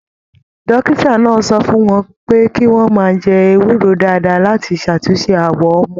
Dókítà náà sọ fún wọn pé kí wọn máa jẹ ewúro dáadáa láti ṣàtúnṣe awọ wọn.